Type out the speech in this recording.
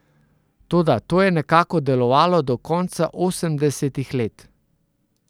Toda to je nekako delovalo do konca osemdesetih let.